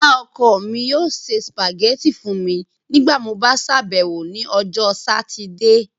Iya-ọkọ mi yoo se spaghetti fun mi nigbati mo ba ṣabẹwo ni Ọjọ Satidee